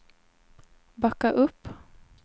backa upp